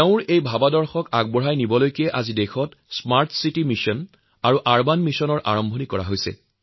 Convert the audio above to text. তেওঁৰ এই সপোনকে পাথেয় হিচাপে লৈ আজি দেশত স্মাৰ্ট চিটী অভিযান আৰু নগৰীকৰণ অভিযান আঁচনি শুবাৰম্ভ কৰা হৈছে